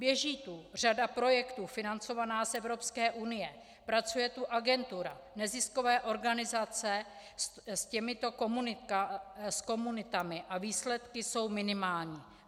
Běží tu řada projektů financovaná z Evropské unie, pracuje tu agentura, neziskové organizace s těmito komunitami a výsledky jsou minimální.